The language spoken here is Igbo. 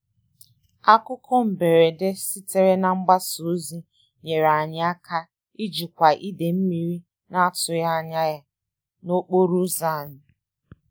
Akụkọ mberede sitere na mgbasa ozi nyere anyị aka ijikwa ide mmiri na-atụghị anya n'okporo ụzọ anyị.